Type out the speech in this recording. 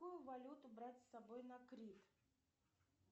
какую валюту брать с собой на крит